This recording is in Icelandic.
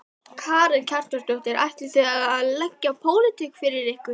Karen Kjartansdóttir: Ætlið þið að leggja pólitík fyrir ykkur?